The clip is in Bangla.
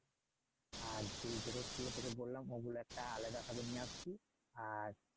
আর যে জিনিস গুলো তোকে বললাম ওগুলো একটা আলাদাভাবে নিয়ে আসবি আর